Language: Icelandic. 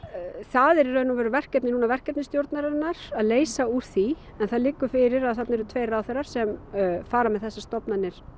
það er í rauninni verkefni verkefnastjórnarinnar að leysa úr því en það liggur fyrir að þarna eru tveir ráðherrar sem fara með þessar stofnanir